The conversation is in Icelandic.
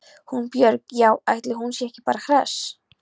Hún Björg- já, ætli hún sé ekki bara hress.